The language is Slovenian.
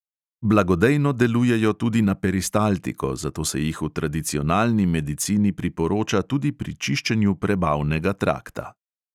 Blagodejno delujejo tudi na peristaltiko, zato se jih v tradicionalni medicini priporoča tudi pri čiščenju prebavnega trakta.